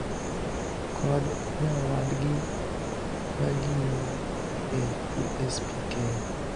kod nyawadgi magingo e USPK